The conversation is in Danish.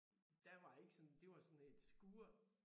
Der var ikke sådan det var sådan et skur